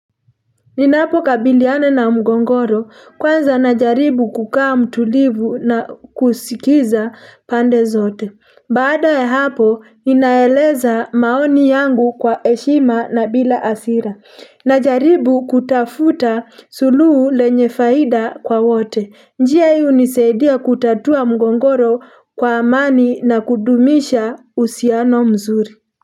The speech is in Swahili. Ninapokabiliana na mgongoro kwanza najaribu kukaa mtulivu na kusikiza pande zote Baada ya hapo ninaeleza maoni yangu kwa eshima na bila asira Najaribu kutafuta suluhu lenye faida kwa wote njia hunisaidia kutatua mgongoro kwa amani na kudumisha usiano mzuri.